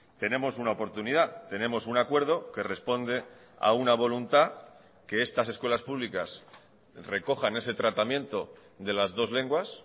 tenemos una oportunidad tenemos un acuerdo que responde a una voluntad que estas escuelas públicas recojan ese tratamiento de las dos lenguas